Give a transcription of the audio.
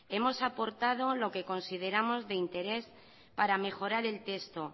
hemos aportado lo que consideramos de interés para mejorar el texto